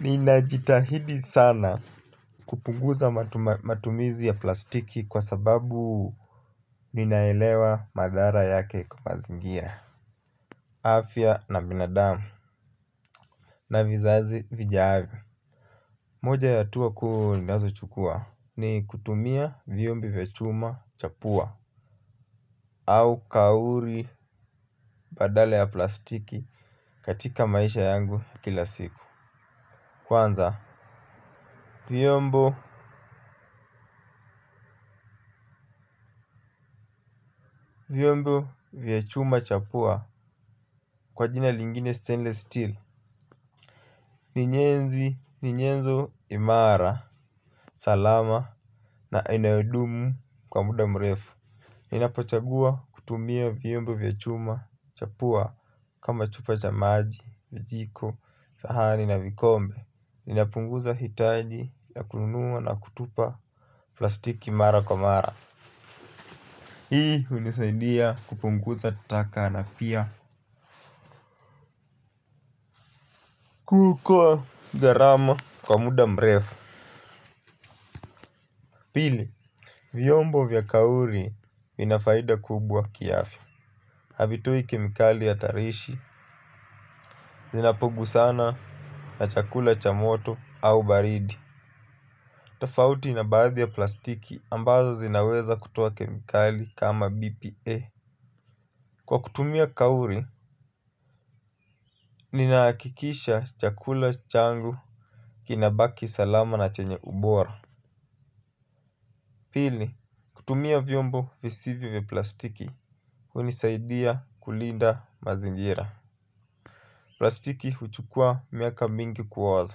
Ninajitahidi sana kupunguza matumizi ya plastiki kwa sababu ninaelewa madhara yake kwa mazingira afya na binadamu. Na vizazi vijavyo. Moja ya hatua kuu ninazochukua ni kutumia vyombi vya chuma cha pua. Au kauri badala ya plastiki katika maisha yangu kila siku. Kwanza vyombo vyombo vya chuma cha pua kwa jina lingine stainless steel. Ni nyenzi ni nyenzo imara. Salama na inayodumu kwa muda mrefu. Ninapachagua kutumia vyembo vya chuma cha pua kama chupa cha maji, vijiko, sahani na vikombe. Ninapunguza hitaji ya kununua na kutupa plastiki mara kwa mara. Hii hunisaidia kupunguza taka na pia kuokoa gharama kwa muda mrefu. Pili vyombo vya kauri vina faida kubwa kiafya. Havitoi kemikali hatarishi. Zinapogusana na chakula cha moto au baridi. Tafauti na baadhi ya plastiki ambazo zinaweza kutoa kemikali kama BPA. Kwa kutumia kauri ninahakikisha chakula changu kinabaki salama na chenye ubora. Pili kutumia vyombo visivyo vya plastiki, hunisaidia kulinda mazingira. Plastiki huchukua miaka mingi kuoza.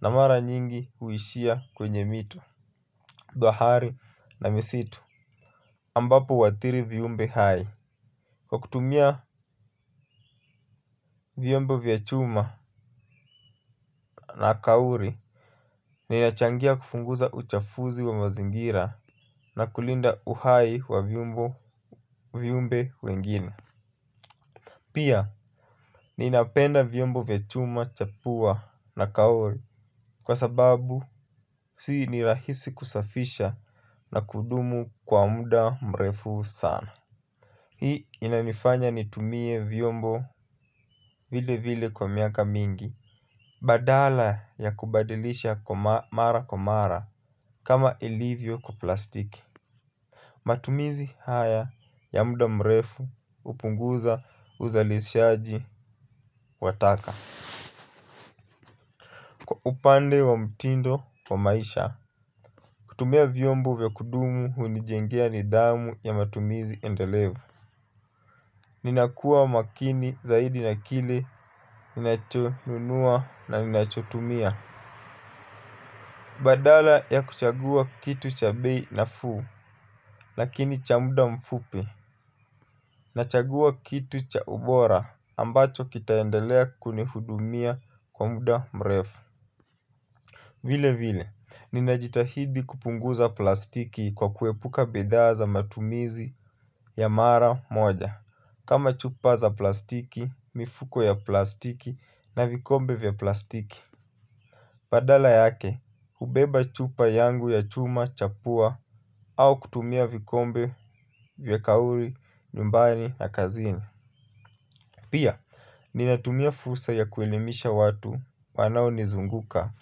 Na mara nyingi huishia kwenye mito, bahari na misitu ambapo huathiri viumbe hai. Kwa kutumia vyombo vya chuma na kauri, ninachangia kupunguza uchafuzi wa mazingira na kulinda uhai wa vyombo viumbe wengine. Pia, ninapenda vyombo vya chuma, cha pua na kauri kwa sababu si ni rahisi kusafisha na kudumu kwa muda mrefu sana. Hii inanifanya nitumie vyombo vile vile kwa miaka mingi. Badala ya kubadilisha mara kwa mara kama ilivyo kwa plastiki. Matumizi haya ya muda mrefu hupunguza uzalishaji wa taka. Kwa upande wa mtindo wa maisha kutumia vyombo vya kudumu hunijengea nidhamu ya matumizi endelevu. Ninakua makini zaidi na kile ninachonunua na ninachotumia. Badala ya kuchagua kitu cha bei nafuu lakini cha muda mfupi nachagua kitu cha ubora ambacho kitaendelea kunihudumia kwa muda mrefu. Vile vile, ninajitahidi kupunguza plastiki kwa kuepuka bidhaa za matumizi ya mara moja kama chupa za plastiki, mifuko ya plastiki na vikombe vya plastiki. Badala yake, hubeba chupa yangu ya chuma, cha pua au kutumia vikombe vya kauri, nyumbani na kazini. Pia, ninatumia fursa ya kuelimisha watu wanaonizunguka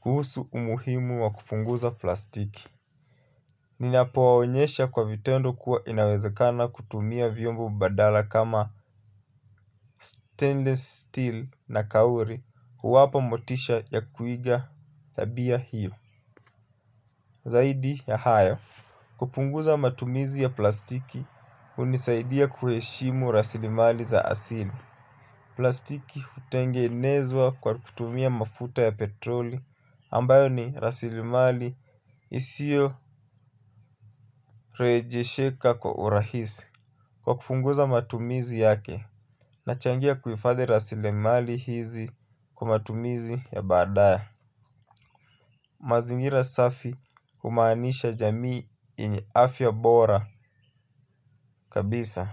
kuhusu umuhimu wa kupunguza plastiki. Ninapowaonyesha kwa vitendo kuwa inawezekana kutumia vyombo badala kama stainless steel na kauri huwapa motisha ya kuiga tabia hiyo. Zaidi ya haya, kupunguza matumizi ya plastiki hunisaidia kuheshimu rasilimali za asili. Plastiki hutengenezwa kwa kutumia mafuta ya petroli ambayo ni rasilimali isiyo rejesheka kwa urahisi. Kwa kupunguza matumizi yake nachangia kuhifadhi rasilimali hizi kwa matumizi ya baadaye. Mazingira safi kumaanisha jamii yenye afya bora kabisa.